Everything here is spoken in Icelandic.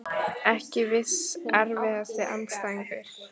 Ekki viss Erfiðasti andstæðingur?